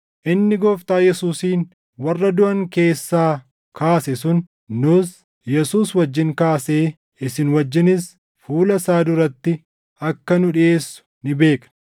inni Gooftaa Yesuusin warra duʼan keessaa kaase sun nuus Yesuus wajjin kaasee isin wajjinis fuula isaa duratti akka nu dhiʼeessu ni beekna.